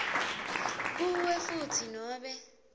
kuwe futsi nobe